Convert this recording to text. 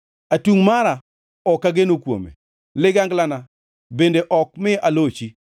Atungʼ mara ok ageno kuome, liganglana bende ok mi alochi;